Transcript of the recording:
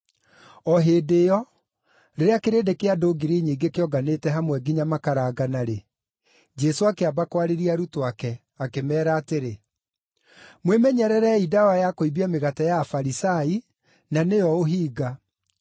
O hĩndĩ ĩyo, rĩrĩa kĩrĩndĩ kĩa andũ ngiri nyingĩ kĩonganĩte hamwe, nginya makarangana-rĩ, Jesũ akĩamba kwarĩria arutwo ake, akĩmeera atĩrĩ, “Mwĩmenyererei ndawa ya kũimbia mĩgate ya Afarisai, na nĩyo ũhinga.